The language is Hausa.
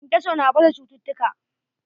Kenkeso na baza cututtuka.